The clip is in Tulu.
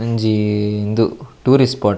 ಒಂಜಿ ಉಂದು ಟೂರಿಸ್ಟ್ ಸ್ಪೋಟ್ --